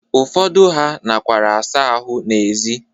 Ụfọdụ ha nakwara asa ahụ n'ezi.